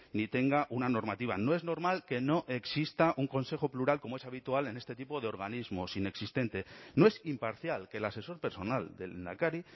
ni tenga una normativa no es normal que no exista un consejo plural como es habitual en este tipo de organismos inexistente no es imparcial que el asesor personal del lehendakari